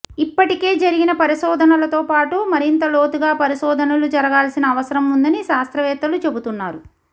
ఇప్పటికే జరిగిన పరిశోధనలతోపాటు మరింత లోతుగా పరిశోధనలు జరగాల్సిన అవసరం ఉందని శాస్త్రవేత్తలు చెబుతున్నారు